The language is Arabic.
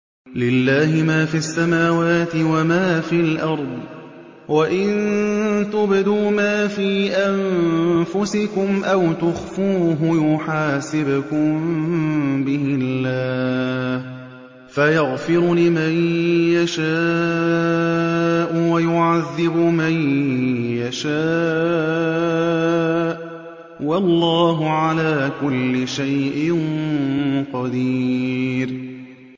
لِّلَّهِ مَا فِي السَّمَاوَاتِ وَمَا فِي الْأَرْضِ ۗ وَإِن تُبْدُوا مَا فِي أَنفُسِكُمْ أَوْ تُخْفُوهُ يُحَاسِبْكُم بِهِ اللَّهُ ۖ فَيَغْفِرُ لِمَن يَشَاءُ وَيُعَذِّبُ مَن يَشَاءُ ۗ وَاللَّهُ عَلَىٰ كُلِّ شَيْءٍ قَدِيرٌ